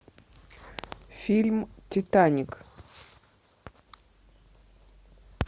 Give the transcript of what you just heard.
фильм титаник